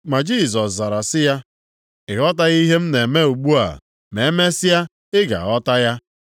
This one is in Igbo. Ma Jisọs zara sị ya, “Ị ghọtaghị ihe m na-eme ugbu a, ma emesịa ị ga-aghọta ya.”